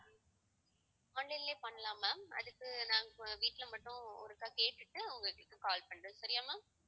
online லயே பண்ணலாம் ma'am அதுக்கு நாங்க வீட்டில மட்டும் ஒருக்கா கேட்டுட்டு உங்களுக்கு call பண்றேன் சரியா ma'am